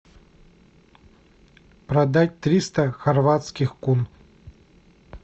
продать триста хорватских кун